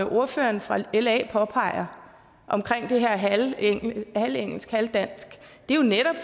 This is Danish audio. ordføreren fra la påpeger omkring det her halvt engelsk halvt dansk er netop